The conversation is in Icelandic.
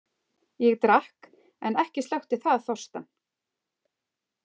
Ég drakk en ekki slökkti það þorstann.